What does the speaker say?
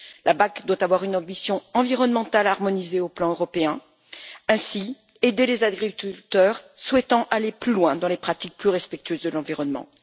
La PAC doit avoir une ambition environnementale harmonisée sur le plan européen et ainsi aider les agriculteurs souhaitant aller plus loin dans les pratiques plus respectueuses de l'environnement.